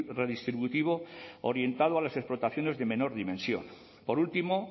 redistributivo orientado a las explotaciones de menor dimensión por último